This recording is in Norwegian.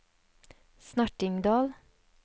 Snertingdal